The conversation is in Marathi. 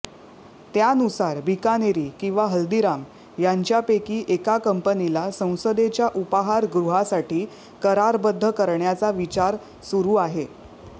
त्यानुसार बिकानेरी किंवा हल्दीराम यांच्यापैकी एका कंपनीला संसदेच्या उपाहार गृहासाठी करारबद्ध करण्याचा विचार सुरू आहे